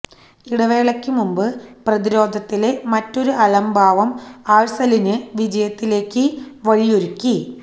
ഇടവേളക്ക് മുമ്പ് പ്രതിരോധത്തിലെ മറ്റൊരു അലംഭാവം ആഴ്സനലിന് വിജയത്തിലേക്ക വഴിയൊരുക്കി